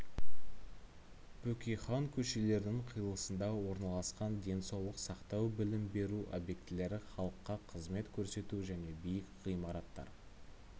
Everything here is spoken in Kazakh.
бөкейхан көшелерінің қиылысында орналасқан денсаулық сақтау білім беру объектілері халыққа қызмет көрсету және биік ғимараттар